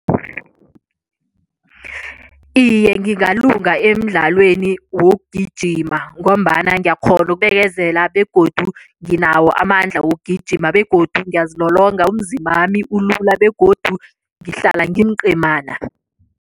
Iye, ngingalunga emidlalweni wokugijima ngombana ngiyakghona ukubekezela begodu nginawo amandla wokugijima begodu ngiyazilolonga umzimbami ulula begodu ngihlala ngimcemana.